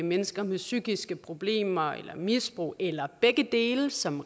mennesker med psykiske problemer eller misbrug eller begge dele som